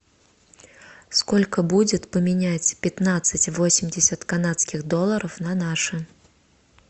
сколько будет поменять пятнадцать восемьдесят канадских долларов на наши